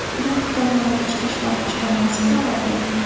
Bu haqda viloyat ichki ishlar boshqarmasi xabar berdi .